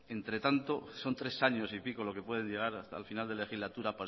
entre tanto son tres años y pico lo que puede llegar hasta el final de legislatura